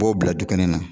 U b'o bila dukɛnɛ na